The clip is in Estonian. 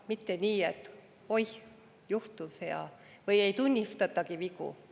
Mitte nii, et "Oih, juhtus!", või ei tunnistatagi vigu.